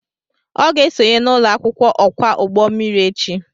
Ọ ga-esonye n'ụlọ akwụkwọ okwa ụgbọ mmiri echi